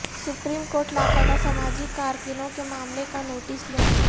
supreme court لاپتا سماجی کارکنوں کے معاملے کا نوٹس لے